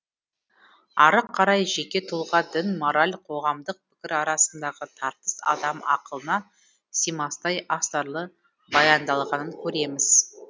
ары қарай жеке тұлға дін мораль қоғамдық пікір арасындағы тартыс адам ақылына симастай астарлы баяндалғанын көреміз